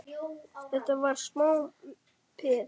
Þetta var smá peð!